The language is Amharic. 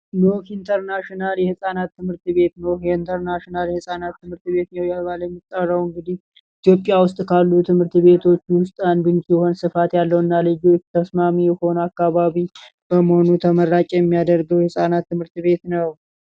ኖህ ኢንተርናሽናል የህፃናት ትምህርት ቤት ኖህ ኢንተርናሽናል የህፃናት ትምህርት ቤት እየተባለ የሚጠራው እንግዲህ ኢትዮጵያ ውስጥ ካሉ ትምህርት ቤቶች ውስጥ አንዱ ሲሆን ስፋት ያለው እና ተስማሚ የሆነ በመሆኑ ተመራጭ የሚያደርገው የህፃናት ትምህርት ቤት ነው።